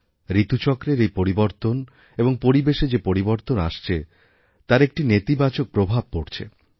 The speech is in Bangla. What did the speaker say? ঋতুচক্রের এই পরিবর্তন এবংপরিবেশে যে পরিবর্তন আসছে তার একটা নেতিবাচক প্রভাব পড়ছে